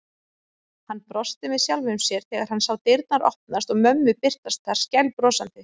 Hann brosti með sjálfum sér þegar hann sá dyrnar opnast og mömmu birtast þar skælbrosandi.